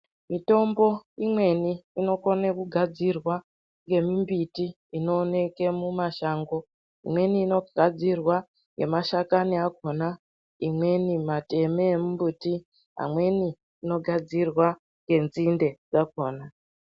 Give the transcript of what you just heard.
Mitombo imweni inokone kugadzirwa ngemimbiti inooneke mumashango. Imweni inogadzirwa ngemashakani akona, imweni mateme emumbuti, amweni inogadzirwa ngenzinde dzakona.